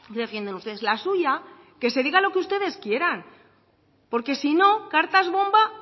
defienden ustedes la suya que se diga lo que ustedes quieran porque si no cartas bomba